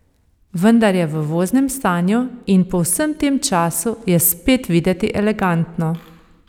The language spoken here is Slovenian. Vendar je v voznem stanju in po vsem tem času je spet videti elegantno.